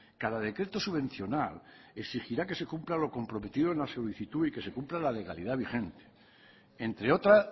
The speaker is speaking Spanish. cada decreto subvencional exigirá que se cumpla lo comprometido en la solicitud y que se cumpla la legalidad vigente entre otra